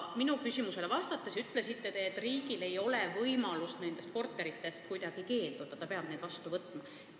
Minu küsimusele vastates te ütlesite, et riigil ei ole võimalik nendest korteritest kuidagi keelduda, ta peab need vastu võtma.